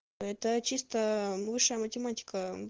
это чисто высшая математика